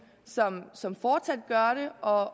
som fortsat har det og